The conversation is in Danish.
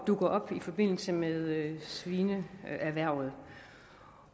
dukker op i forbindelse med svineerhvervet